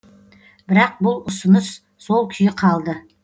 бірақ ол ұсыныс сол күйі қалды